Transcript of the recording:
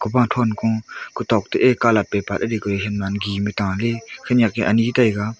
kowathonkung kotok to ye colour paper yeh decoration man giman taley khanak ye ani taiga.